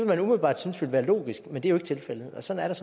man umiddelbart synes var logisk men det er jo ikke tilfældet og sådan er